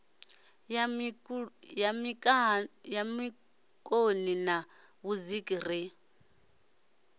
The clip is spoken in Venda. ya mikaṋoni na vhudziki ri